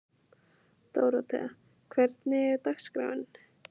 Dóróthea, hvernig er dagskráin?